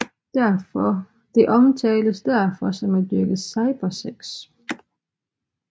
Det omtales derfor som at dyrke cybersex